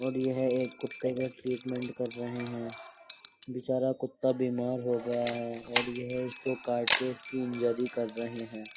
और यह एक कुत्ते का ट्रीटमेंट कर रहे हैं बेचारा कुत्ता बीमार हो गया है और यह इसको काट के इसकी इंजरी कर रहे हैं।